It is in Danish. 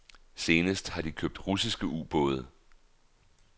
Senest har de købt russiske ubåde.